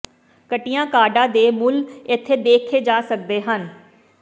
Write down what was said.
ਘਟੀਆਂ ਕਾਰਡਾਂ ਦੇ ਮੁੱਲ ਇੱਥੇ ਦੇਖੇ ਜਾ ਸਕਦੇ ਹਨ